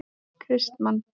Kristmann